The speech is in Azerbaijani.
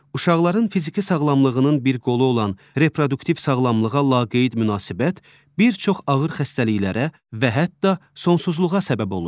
Uşaqların fiziki sağlamlığının bir qolu olan reproduktiv sağlamlığa laqeyd münasibət bir çox ağır xəstəliklərə və hətta sonsuzluğa səbəb olur.